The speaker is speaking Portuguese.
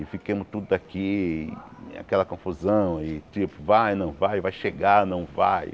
E fiquemos tudo aqui, aquela confusão, e tipo, vai, não vai, vai chegar, não vai.